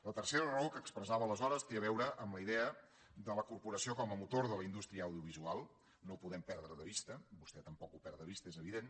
la tercera raó que expressava aleshores té a veure amb la idea de la corporació com a motor de la indústria audiovisual no ho podem perdre de vista vostè tampoc ho perd de vista és evident